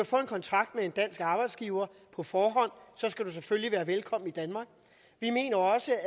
få en kontrakt med en dansk arbejdsgiver på forhånd skal man selvfølgelig være velkommen i danmark vi mener også